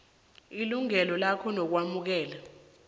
ilungelo lakhe lokwamukela